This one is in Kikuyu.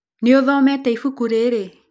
Nĩũthomete ibuku rĩrĩ?